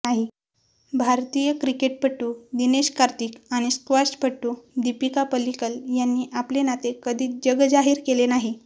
भारतीय क्रिकेटपटू दिनेश कार्तिक आणि स्क्वॉशपटू दिपिका पल्लिकल यांनी आपले नाते कधीच जगजाहीर केले नाही